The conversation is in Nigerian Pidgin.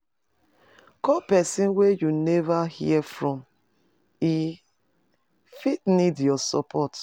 Call pesin wey you neva hear from, e fit need your support.